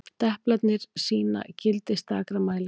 deplarnir sýna gildi stakra mælinga